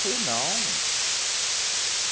Falei, não.